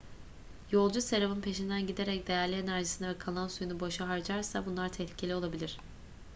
yolcu serabın peşinden giderek değerli enerjisini ve kalan suyunu boşa harcarsa bunlar tehlikeli olabilir